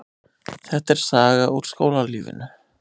Þetta er saga úr skólalífinu.